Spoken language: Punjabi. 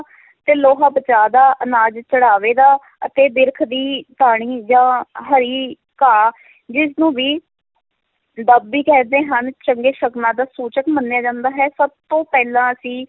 ਤੇ ਲੋਹਾ ਬਚਾਅ ਦਾ, ਅਨਾਜ ਚੜ੍ਹਾਵੇ ਦਾ ਅਤੇ ਬਿਰਖ ਦੀ ਟਹਿਣੀ ਜਾਂ ਹਰੀ ਘਾਹ ਜਿਸ ਨੂੰ ਵੀ ਦੁੱਬ ਵੀ ਕਹਿੰਦੇ ਹਨ, ਚੰਗੇ ਸ਼ਗਨਾਂ ਦਾ ਸੂਚਕ ਮੰਨਿਆ ਜਾਂਦਾ ਹੈ, ਸਭ ਤੋਂ ਪਹਿਲਾਂ ਅਸੀਂ